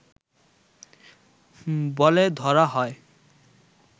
বলে ধরা হয়